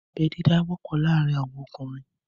Abẹ́ dídá wọ́pọ̀ láàárín àwọn ọkùnrin